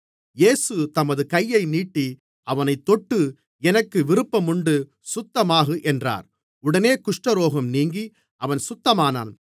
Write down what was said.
இயேசு தமது கையை நீட்டி அவனைத் தொட்டு எனக்கு விருப்பமுண்டு சுத்தமாகு என்றார் உடனே குஷ்டரோகம் நீங்கி அவன் சுத்தமானான்